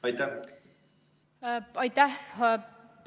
Aitäh!